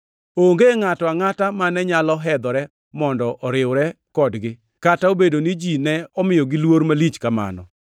Onge ngʼato angʼata mane nyalo hedhore mondo oriwre kodgi, kata obedo ni ji ne omiyogi luor malich kamano.